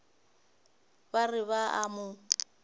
ba re ba a mo